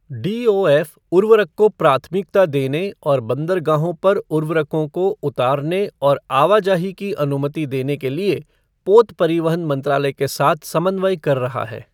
डीओएफ़उर्वरक को प्राथमिकता देने और बंदरगाहों पर उर्वरकों के उतारने और आवाजाही की अनुमति देने के लिए पोत परिवहन मंत्रालय के साथ समन्वय कर रहा है।